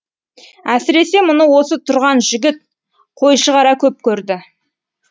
әсіресе мұны осы тұрған жігіт қойшығара көп көрді